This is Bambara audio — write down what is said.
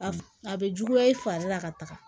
A a bɛ juguya i fari la ka taga